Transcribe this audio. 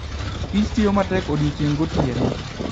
Kich tiyo matek odiechieng' gotieno.